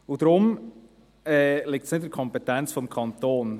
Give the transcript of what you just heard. Deswegen liegt es nicht in der Kompetenz des Kantons.